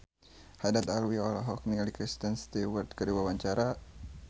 Haddad Alwi olohok ningali Kristen Stewart keur diwawancara